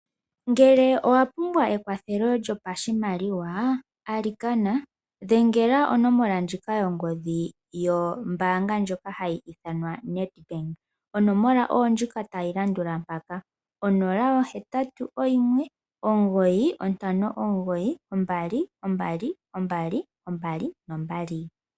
Ngele owapumbwa ekwathelo lyopashimaliwa, alikana dhengela onomola ndjika yongodhi, yombaanga ndjoka hayi ithanwa Nedbank. Onomola oyondjika tayilandula mpaka 0819592222.